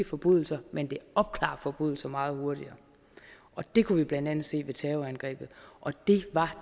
forbrydelser men det opklarer forbrydelser meget hurtigere det kunne vi blandt andet se ved terrorangrebet og det var